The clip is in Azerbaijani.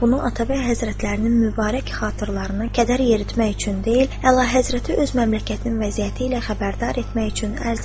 Bunu Atabəy Həzrətlərinin mübarək xatirəsinə kədər yeritmək üçün deyil, Əlahəzrəti öz məmləkətinin vəziyyəti ilə xəbərdar etmək üçün ərz edirəm.